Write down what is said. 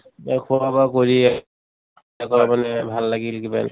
দে খোৱা বোৱা কৰি মানে ভাল লাগিল